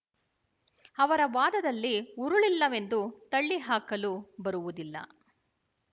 ಅವರ ವಾದದಲ್ಲಿ ಹುರುಳಿಲ್ಲವೆಂದು ತಳ್ಳಿಹಾಕಲು ಬರುವುದಿಲ್ಲ